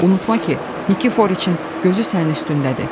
Unutma ki, Nikiforiçin gözü sənin üstündədir.